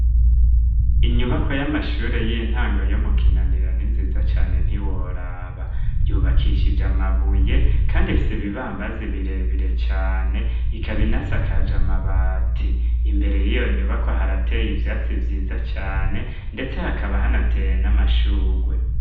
Inyubako y'amashure y'intango yo mu kinanira ni nziza cane ntiworaba yubakishije amabuye kandi rifise ibibambazi birebire cane ikaba inasakaje amabati imbere y'iyo nyubako harateye ivyatsi vyiza cane ndetse hakaba hanateye n'amashurwe.